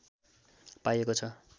पाइएको छ